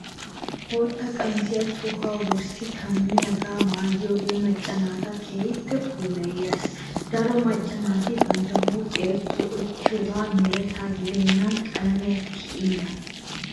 Bootta qamisiya tohuwaa wurssi kammiyaagaa mayyikko macca naata keehi puulayees. Daroto macca naati bantta huuphiya zo'ettiyogee mereta gidennan qalamiya tiyiina.